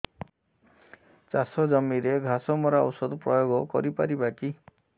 ଚାଷ ଜମିରେ ଘାସ ମରା ଔଷଧ ପ୍ରୟୋଗ କରି ପାରିବା କି